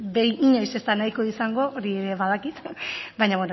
inoiz ez da nahiko izango hori ere badakit baina